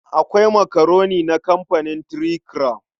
Akwai makaroni na kamfanin Three Crown.